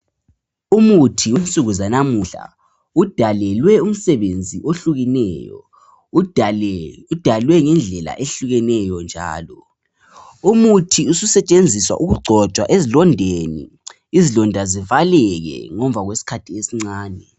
Umuthi wensuku zanamuhla udalelwe umsebenzi ohlukeneyo, udale udalwe ngendlela ehlukeneyo njalo. Umuthi ususetshenziswa ukugcotshwa ezilondeni, izilonda zivaleke ngemva kwesikhathi esincane.